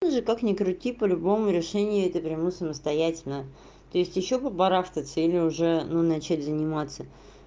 или как ни крути по-любому решение это приму самостоятельно то есть ещё по барахтаться или уже ну начать заниматься